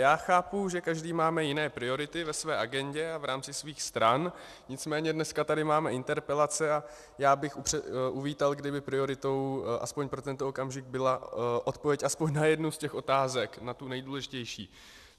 Já chápu, že každý máme jiné priority ve své agendě a v rámci svých stran, nicméně dneska tady máme interpelace a já bych uvítal, kdyby prioritou aspoň pro tento okamžik byla odpověď aspoň na jednu z těch otázek, na tu nejdůležitější.